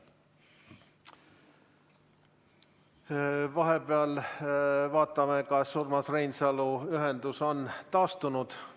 Vahepeal vaatame, kas Urmas Reinsalu ühendus on taastunud.